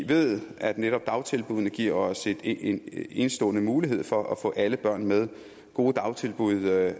ved at netop dagtilbuddene giver os en enestående mulighed for at få alle børn med gode dagtilbud